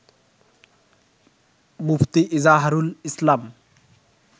মুফতি Izharul ইসলাম